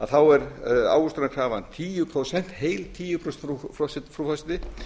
þá er ávöxtunarkrafan heil tíu prósent frú forseti